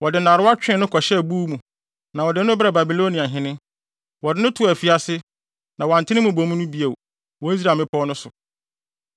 Wɔde nnarewa twee no kɔhyɛɛ buw mu na wɔde no brɛɛ Babilonia hene. Wɔde no too afiase, na wɔante ne mmubomu no bio wɔ Israel mmepɔw no so.